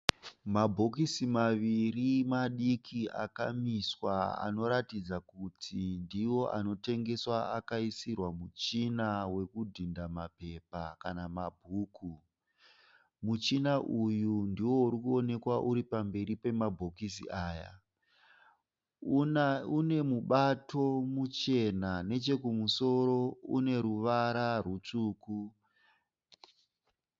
Mabhokisi maviri madiki akamiswa anoratidza kuti ndiwo anotengeswa akaisirwa muchina wekudhinda mapepa kana mabhuku. Muchina uyu ndiwo uri kuonekwa uri pamberi pemabhokisi aya. Une mubato muchena nechekumusoro une ruvara rwutsvuku.